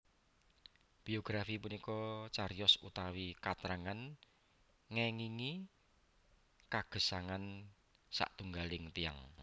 Biografi punika cariyos utawi katrangan ngéngingi kagesangan satunggaling tiyang